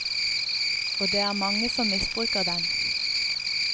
Og det er mange som misbruker den.